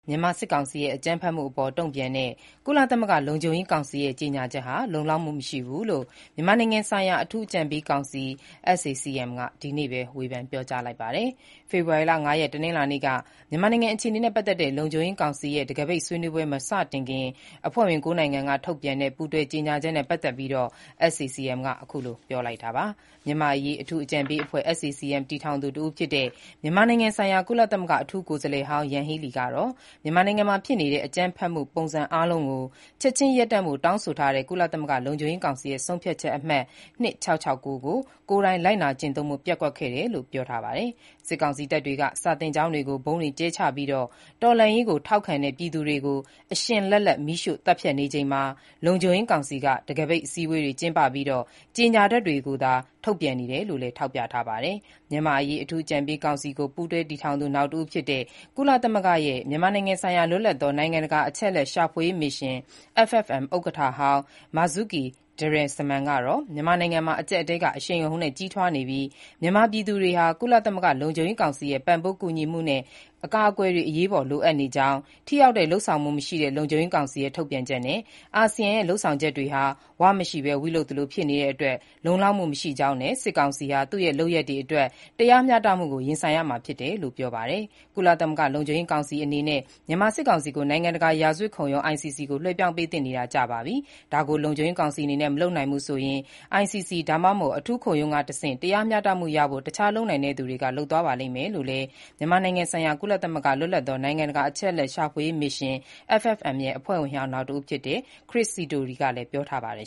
မြန်မာစစ်ကောင်စီရဲ့ အကြမ်းဖက်မှုအပေါ် တုံ့ပြန်တဲ့ ကုလသမဂ္ဂ လုံခြုံရေးကောင်စီရဲ့ ကြောညာချက်က လုံလောက်မှု မရှိဘူးလို့ မြန်မာနိုင်ငံဆိုင်ရာ အထူးအကြံပေးကောင်စီ (SAC-M) က ဒီနေ့ပဲ ဝေဖန် ပြောကြားလိုက်ပါတယ်။ ဖေဖော်ဝါရီလ ၅ရက် တနင်္လာနေ့က မြန်မာနိုင်ငံ အခြေအနေနဲ့ပတ်သက်တဲ့ လုံခြုံရေးကောင်စီရဲ့ တံခါးပိတ်ဆွေးနွေးပွဲ မစတင်ခင်၊ အဖွဲ့ဝင် (၉) နိုင်ငံက ထုတ်ပြန်ခဲ့တဲ့ ပူးတွဲကြေညာချက်နဲ့ ပတ်သက်ပြီး SAC-M က အခုလို ပြောလိုက်တာပါ။ မြန်မာ့အရေးအထူးအကြံပေးအဖွဲ့ SAC-M တည်ထောင်သူတဦးဖြစ်တဲ့ မြန်မာနိုင်ငံဆိုင်ရာ ကုလသမဂ္ဂအထူးကိုယ်စားလှယ်ဟောင်း Yanghee Lee ကတော့ မြန်မာနိုင်ငံမှာ ဖြစ်နေတဲ့ အကြမ်းဖက်မှုပုံစံအားလုံးကို ချက်ခြင်းရပ်တန့်ဖို့ တောင်းဆိုထားတဲ့ ကုလသမဂ္ဂ လုံခြုံရေးကောင်စီရဲ့ ဆုံးဖြတ်ချက်အမှတ် ၂၆၆၉ ကို ကိုယ်တိုင် လိုက်နာကျင့်သုံးဖို့ ပျက်ကွက်ခဲ့တယ်လို့ ပြောပါတယ်။ စစ်ကောင်စီတပ်တွေက စာသင်ကျောင်းတွေကို ဗုံးတွေကျဲချပြီး၊ တော်လှန်ရေးကိုထောက်ခံတဲ့ ပြည်သူတွေကို အရှင်လတ်လတ် မီးရှို့သတ်ဖြတ်နေချိန်မှာ လုံခြုံရေးကောင်စီက တံခါးပိတ်အစည်းအဝေးတွေကျင်းပပြီး ကြေညာချက်တွေသာ ထုတ်ပြန်နေတယ်လို့လည်း ထောက်ပြထားပါတယ်။ မြန်မာ့အရေး အထူးအကြံပေးကောင်စီကို ပူးတွဲတည်ထောင်သူနောက်တဦးလည်းဖြစ်၊ ကုလသမဂ္ဂရဲ့ မြန်မာနိုင်ငံဆိုင်ရာ လွတ်လပ်သော နိုင်ငံတကာ အချက်အလက်ရှာဖွေရေးမစ်ရှင် (FFM) ဥက္ကဋ္ဌဟောင်း Marzuki Darusman ကတော့ မြန်မာနိုင်ငံမှာ အကျပ်အတည်းက အရှိန်အဟုန်နဲ့ ကြီးထွားနေပြီး မြန်မာ ပြည်သူတွေဟာ ကုလသမဂ္ဂ လုံခြုံရေးကောင်စီရဲ့ ပံ့ပိုးကူညီမှုနဲ့ အကာအကွယ်တွေ အရေးပေါ် လိုအပ်နေကြောင်း၊ ထိရောက်တဲ့ လုပ်ဆောင်မှုမရှိတဲ့ လုံခြုံရေးကောင်စီရဲ့ ထုတ်ပြန်ချက်နဲ့ အာဆီယံရဲ့ လုပ်ဆောင်ချက်တွေဟာ 'ဝ' မရှိလဲ 'ဝိ' လုပ်သလို ဖြစ်နေတဲ့အတွက် လုံလောက်မှု မရှိကြောင်း နဲ့ စစ်ကောင်စီဟာ သူ့ရဲ့ လုပ်ရပ်တွေအတွက် တရားမျှတမှုကို ရင်ဆိုင်ရမှာဖြစ်တယ်လို့ ပြောပါတယ်။ ကုလသမဂ္ဂ လုံခြုံရေးကောင်စီအနေနဲ့ မြန်မာစစ်ကောင်စီကို နိုင်ငံတကာ ရာဇ၀တ်ခုံရုံး (ICC) ကို လွှဲပြောင်းပေးသင့်နေတာ ကြာပါပြီ၊ ဒါကို လုံခြုံရေးကောင်စီအနေနဲ့ မလုပ်နိုင်ဘူးဆိုရင် ICC ၊ ဒါမှမဟုတ် အထူးခုံရုံးကနေတဆင့် တရားမျှတမှုရဖို့ တခြား လုပ်နိုင်တဲ့သူတွေက လုပ်သွားရပါလိမ့်မယ်လို့လည်း မြန်မာနိုင်ငံဆိုင်ရာ ကုလသမဂ္ဂ လွတ်လပ်သော နိုင်ငံတကာ အချက်အလက်ရှာဖွေရေးမစ်ရှင် (FFM) ရဲ့ အဖွဲ့ဝင်ဟောင်း နောက်တဦးဖြစ်တဲ့ Chris Sidoti ကလည်း ပြောထားပါတယ်